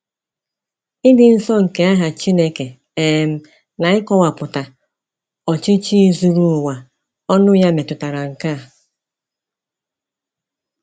Ịdị nsọ nke aha Chineke um na ịkọwapụta ọchịchị zuru ụwa ọnụ ya metụtara nke a.